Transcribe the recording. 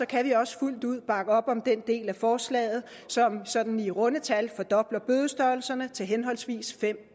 kan vi også fuldt ud bakke op om den del af forslaget som sådan i runde tal fordobler bødestørrelserne til henholdsvis fem